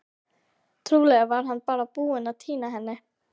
Trúlega var hann bara búinn að týna henni.